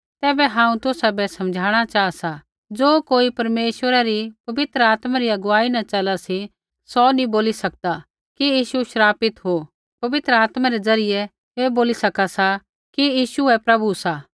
तैबै हांऊँ तुसाबै समझाणा चाहा सा ज़ो कोई परमेश्वरा री पवित्र आत्मा री अगुवाई न चला सी सौ नी बोली सकदा कि यीशु श्रापित हो होर पवित्र आत्मा रै ज़रियै ही बोली सका सा कि यीशु ही प्रभु सा